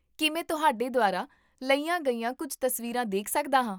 ਕੀ ਮੈਂ ਤੁਹਾਡੇ ਦੁਆਰਾ ਲਈਆਂ ਗਈਆਂ ਕੁੱਝ ਤਸਵੀਰਾਂ ਦੇਖ ਸਕਦਾ ਹਾਂ?